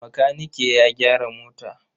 Makanike ya gyara mota.